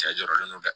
Cɛ jɔlen do dɛ